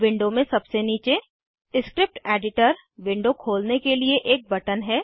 window में सबसे नीचे स्क्रिप्ट एडिटर विंडो खोलने के लिए एक बटन है